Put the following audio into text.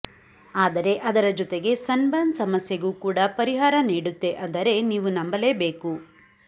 ಆದರೆ ಅದರ ಜೊತೆಗೆ ಸನ್ ಬರ್ನ್ ಸಮಸ್ಯೆಗೂ ಕೂಡ ಪರಿಹಾರ ನೀಡುತ್ತೆ ಅಂದರೆ ನೀವು ನಂಬಲೇಬೇಕು